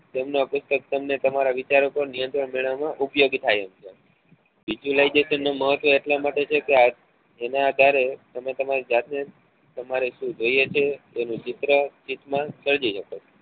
તેમના પુસ્તક તમને તમારા વિચારકો ને નિયંત્રણ મેળવવા માં ઉપયોગી થાય એમ છે visualisation નું મહત્વ એટલા માટે છે કે એના આધારે તમે તમારી જાત ને તમારે શું જોઈએ છે તેનું ચિત્ર ચિન્હ શકો